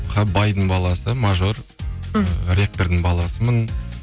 байдың баласы мажор мхм ы ректордың баласымын